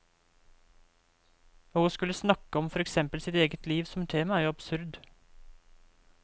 Og å skulle snakke om for eksempel sitt eget liv som tema er jo absurd.